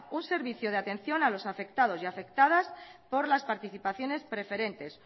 un servicio de atención a los afectados y afectadas por las participaciones preferentes